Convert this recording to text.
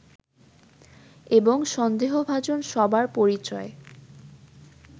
এবং সন্দেহভাজন সবার পরিচয়